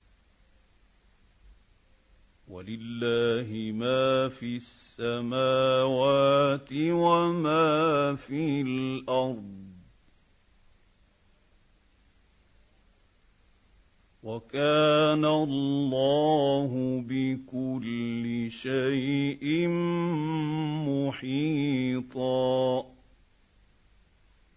وَلِلَّهِ مَا فِي السَّمَاوَاتِ وَمَا فِي الْأَرْضِ ۚ وَكَانَ اللَّهُ بِكُلِّ شَيْءٍ مُّحِيطًا